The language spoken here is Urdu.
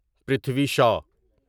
پرتھوی شا